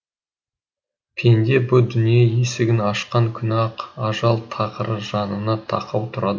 пенде бұ дүние есігін ашқан күні ақ ажал тықыры жанына тақау тұрады